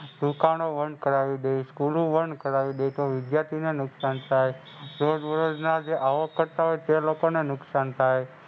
દુકાનો બંધ કરાવી દે, School લો બંધ કરાવી દે. તો વિધ્યાર્થીને નુકસાન થાય. રોજબરોજના જે અવકર્તા હોય તે લોકોને નુકસાન થાય.